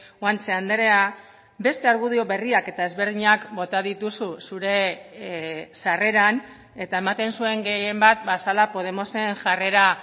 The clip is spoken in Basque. guanche andrea beste argudio berriak eta ezberdinak bota dituzu zure sarreran eta ematen zuen gehienbat ba zela podemosen jarrera